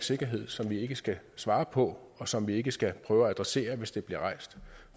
sikkerhed som vi ikke skal svare på og som vi ikke skal prøve at adressere hvis det bliver rejst